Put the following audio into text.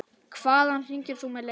Hvaðan hringir þú með leyfi?